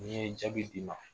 Ni ye jaabi d'i ma